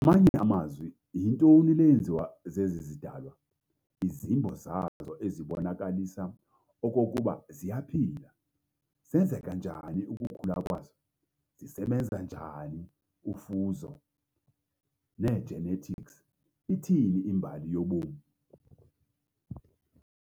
Ngamanye amazwi, yintoni le yenziwa zezi zidalwa, izimbo zazo ezibonakalisa okokuba ziyaphila? Zenzeka njani ukukhula kwazo "zisebenza njani ufuzo, "negenetics", "Ithini imbali yobomi?"